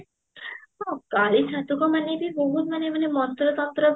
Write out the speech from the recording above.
ହଁ କାଳୀ ମାନେ ବି ବହତୁ ମାନେ ମାନେ ମନ୍ତ୍ର ତନ୍ତ୍ର ବି